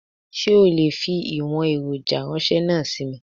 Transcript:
Sé o lè fi ìwòn èròjà ránsé náà sí mi?